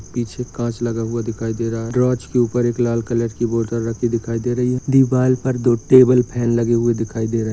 पीछे काँच लगा हुआ दिखाई दे रहा है काँच के ऊपर एक लाल कलर की बॉटल रखी दिखाई दे रही है। दीवार पर दो टेबल फैन लगे हुए दिखाई दे रहे --